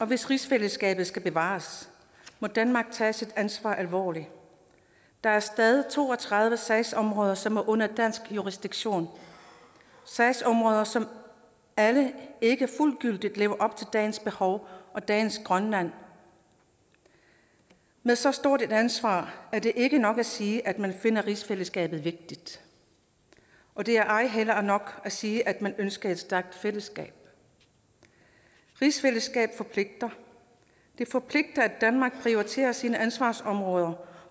hvis rigsfællesskabet skal bevares må danmark tage sit ansvar alvorligt der er stadig to og tredive sagsområder som er under dansk jurisdiktion sagsområder som alle ikke fuldgyldigt lever op til dagens behov og dagens grønland med så stort et ansvar er det ikke nok at sige at man finder rigsfællesskabet vigtigt og det er ej heller nok at sige at man ønsker et stærkt fællesskab rigsfællesskab forpligter det forpligter at danmark prioriterer sine ansvarsområder